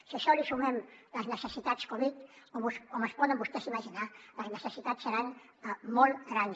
si a això li sumem les necessitats covid com es poden vostès imaginar les necessitats seran molt grans